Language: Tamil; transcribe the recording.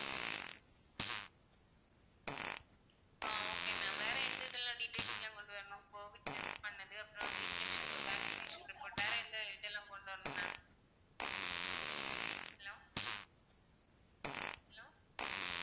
அஹ் okay ma'am வேற எந்த இதுல details லாம் கொண்டு வரணும் covid test பண்ணது அப்பறம் வந்து injection vaccination report வேற எந்த இதெல்லாம் கொண்டு வரணும் ma'am hello hello